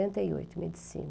setenta e oito, medicina.